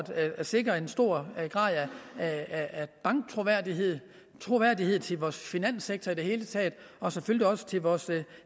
at sikre en stor grad af banktroværdighed troværdighed til vores finanssektor i det hele taget og selvfølgelig også til vores